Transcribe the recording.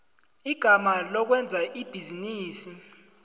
igama lokwenza ibhizinisi